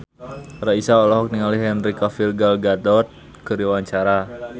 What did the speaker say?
Raisa olohok ningali Henry Cavill Gal Gadot keur diwawancara